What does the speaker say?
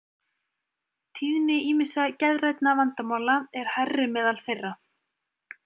Tíðni ýmissa geðrænna vandamála er hærri meðal þeirra.